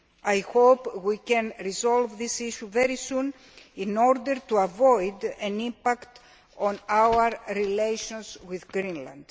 I hope we can resolve this issue very soon in order to avoid an impact on our relations with Greenland.